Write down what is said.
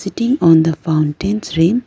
sitting on the fountains rin --